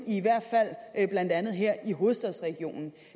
i hvert fald blandt andet her i hovedstadsregionen